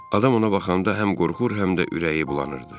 Adam ona baxanda həm qorxur, həm də ürəyi bulanırdı.